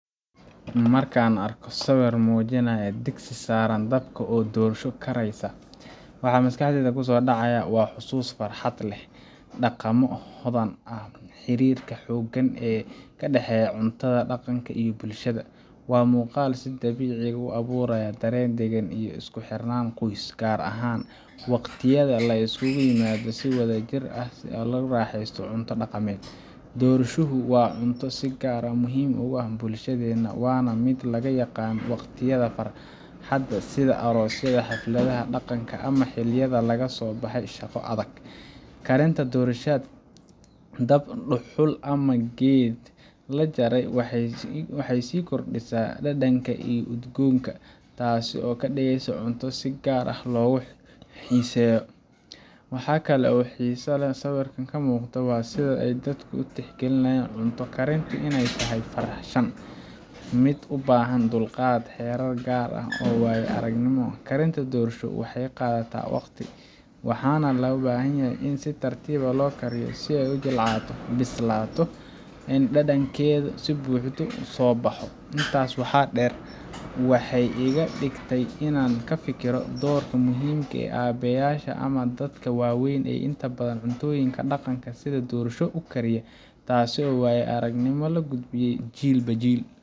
Marka aan arko sawirkan oo muujinaya digsi saaran dabka oo dhorsho karaysaa, waxa maskaxdayda ku soo dhacaya xasuuso farxad leh, dhaqammo hodan ah, iyo xiriirka xooggan ee ka dhaxeeya cuntada dhaqanka iyo bulshada. Waa muuqaal si dabiici ah u abuuraya dareen degaan iyo isku xirnaan qoys, gaar ahaan waqtiyada la isugu yimaado si wadajir ah oo la isku raaxaysto cunto dhaqameed. Dhorshuhu waa cunto si gaar ah muhiim ugu ah bulshadeena, waana mid lagu yaqaan waqtiyada farxadda sida aroosyada, xafladaha dhaqanka, ama xilliyada laga soo baxay shaqo adag. Karinta dhorshada dab dhuxul ama geed la jaray waxay sii kordhisaa dhadhanka iyo udgoonka, taasoo ka dhigaysa cunto si gaar ah loogu xiiseeyo. Waxa kale oo xiisa leh oo sawirkan ka muuqda waa sida ay dadku u tixgeliyaan cunto karintu inay tahay farshaxan mid u baahan dulqaad, xeerar gaar ah iyo waayo-aragnimo. Karinta dhorsho waxay qaadataa waqti, waxaana loo baahanyahay in si tartiib ah loo kariyo si ay u jilcato, u bislaato, oo ay dhadhankeeda si buuxda u soo baxo. Intaas waxaa dheer, waxay iga dhigtay inaan ka fikiro doorka dumarka, aabbeyaasha, ama dadka waaweyn ee inta badan cuntooyinka dhaqanka sida dhorshada u kariya, taasoo ah waayo-aragnimo la gudbinayo jiilba jiil